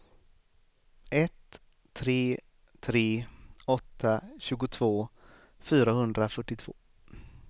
ett tre tre åtta tjugotvå fyrahundrafyrtiotvå